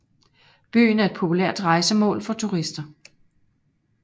Byen er et populært rejsemål for turister